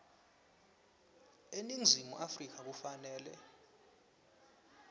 eningizimu afrika kufanele